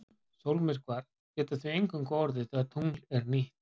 Sólmyrkvar geta því eingöngu orðið þegar tungl er nýtt.